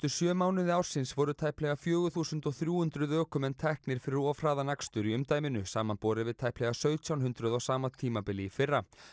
sjö mánuði ársins voru tæplega fjögur þúsund þrjú hundruð ökumenn teknir fyrir of hraðan akstur í umdæminu samanborið við tæplega sautján hundruð á sama tímabili í fyrra